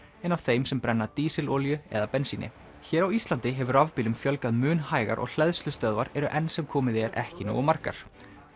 en af þeim sem brenna dísilolíu eða bensíni hér á Íslandi hefur rafbílum fjölgað mun hægar og hleðslustöðvar eru enn sem komið er ekki nógu margar